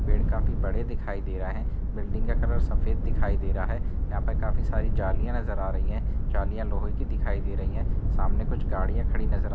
पेड़ काफी बडे दिखाई दे रहा है। बिल्डिंग का कलर सफेद दिखाई दे रहा है। यहाँ पे काफी सारी जालियां नजर आ रही हैं जालियां लोहे की दिखाई दे रही हैं। सामने कुछ गाड़ियां खड़ी नजर आ --